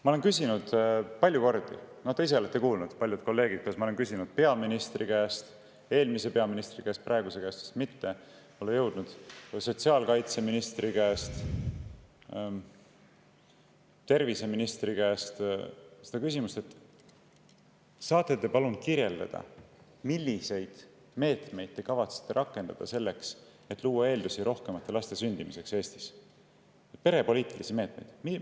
Ma olen küsinud palju kordi peaministri käest – te ise olete seda kuulnud ja paljud kolleegid on seda kuulnud –, olen küsinud eelmise peaministri käest, praeguse käest vist mitte, pole veel jõudnud, sotsiaalkaitseministri käest ja terviseministri käest: "Saate te palun kirjeldada, milliseid meetmeid, perepoliitilisi meetmeid te kavatsete rakendada selleks, et luua eeldusi rohkemate laste sündimiseks Eestis?